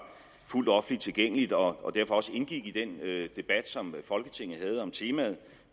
fuldt offentligt tilgængeligt og derfor også indgik i den debat som folketinget havde om temaet